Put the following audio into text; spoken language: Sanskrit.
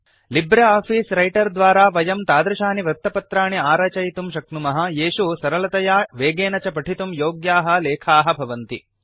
लिब्रे आफीस् रैटर् द्वारा वयं तादृशानि वृत्तपत्राणि आरचयितुं शक्नुमः येषु सरलतया वेगेन च पठितुं योग्याः लेखाः भवन्ति